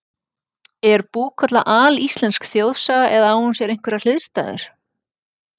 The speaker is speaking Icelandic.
Er Búkolla alíslensk þjóðsaga eða á hún sér einhverjar hliðstæður?